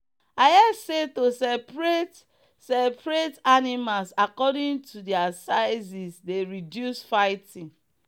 i hear say to separate separate animals according to their sizes dey reduce fighting.